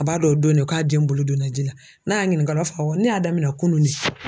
A b'a dɔn o don ne k'a den bolo donna ji la n'a y'a ɲininka o la a b'a fɔ awɔ ne y'a daminɛn kunun ne.